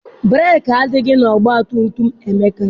Breeki adịghị na ọgbatumtum Emeka.